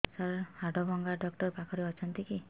ସାର ହାଡଭଙ୍ଗା ଡକ୍ଟର ପାଖରେ ଅଛନ୍ତି କି